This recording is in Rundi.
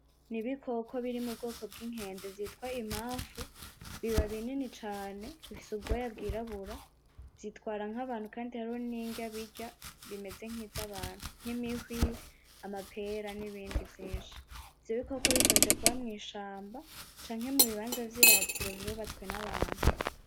Ni ibikoko biri mubwoko bw'inkende vyitwa imafu biba binini cane bifise ubwoya bw'irabura vyitwara nk'abantu kandi hariho n'indya birya zimeze nkiz'abantu nk'imihwi amapera n'ibindi vyinshi ivyo bikoko bikunze kuba mw'ishamba canke mu bibanza vy'iratiro vyubatswe n'abantu .